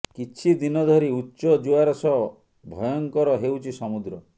କିଛି ଦିନ ଧରି ଉଚ୍ଚ ଜୁଆର ସହ ଭୟଙ୍କର ହେଉଛି ସମୁଦ୍ର